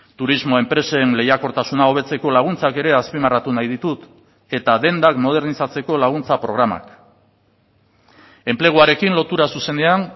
turismo enpresen lehiakortasuna hobetzeko laguntzak ere azpimarratu nahi ditut eta dendak modernizatzeko laguntza programak enpleguarekin lotura zuzenean